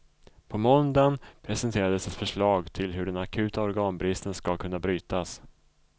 På måndagen presenterades ett förslag till hur den akuta organbristen ska kunna brytas.